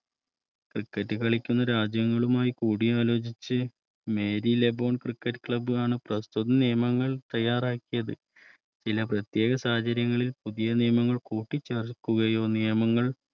Criket കളിക്കുന്ന രാജ്യങ്ങളുമായി കൂടിയ ആലോചിച്ച് Merilabone cricket club പ്രസ്തുത നിയമങ്ങൾ തയ്യാറാക്കിയത്ചില പ്രത്യേക സാഹചര്യങ്ങളിൽ പുതിയ നിയമങ്ങൾ കൂട്ടിച്ചേർക്കുകയോ നിയമങ്ങൾ